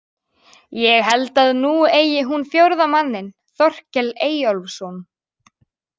Ég held að nú eigi hún fjórða manninn, Þorkel Eyjólfsson.